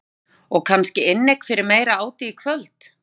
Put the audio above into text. Jóhanna: Og kannski inneign fyrir meira áti í kvöld?